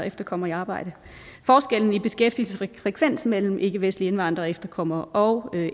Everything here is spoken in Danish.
efterkommere i arbejde forskellen i beskæftigelsesfrekvens mellem ikkevestlige indvandrere og efterkommere og